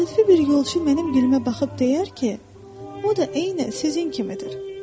Təsadüfi bir yolçu mənim gülümə baxıb deyər ki, o da eynən sizin kimidir.